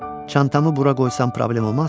Çantamı bura qoysam problem olmaz?